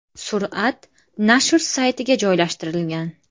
Surat nashr saytiga joylashtirilgan .